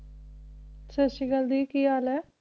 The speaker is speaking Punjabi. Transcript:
ਸਤਿ ਸ਼੍ਰੀ ਅਕਾਲ ਦੀ ਕੀ ਹਾਲ ਐ